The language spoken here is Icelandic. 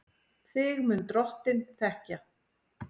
Þig mun Drottinn þekkja.